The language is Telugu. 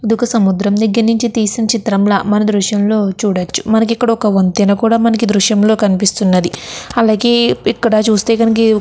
ఇది ఒక సముద్రం దగ్గర నుంచి తీసిన చిత్రం. దాకా మనము ఈ దృశ్యం లోని చూడవచ్చు. ఒక వంతెన కూడా మనకు ఈ దృశ్యం లో కనిపిస్తూ ఉన్నది. అలాగే అక్కడ చూస్తే కనుక--